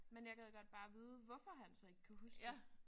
Men jeg gad godt bare vide hvorfor han så ikke kan huske det